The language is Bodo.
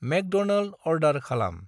मेक्ड'नाल्ड अरडार खालाम।